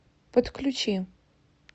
подключи